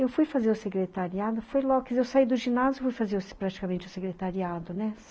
Eu fui fazer o secretariado, fui logo, quer dizer, eu saí do ginásio, fui fazer praticamente o secretariado, né?